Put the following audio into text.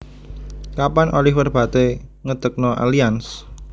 Kapan Oliver Bate ngedekno Allianz?